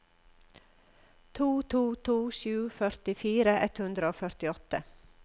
to to to sju førtifire ett hundre og førtiåtte